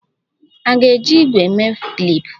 A na-eji ígwè mee klip